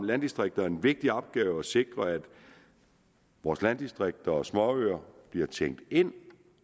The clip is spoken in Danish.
landdistrikter en vigtig opgave i at sikre at vores landdistrikter og småøer bliver tænkt ind